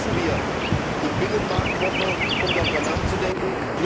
Nutzen wir die Binnenmarktwoche, um darüber nachzudenken!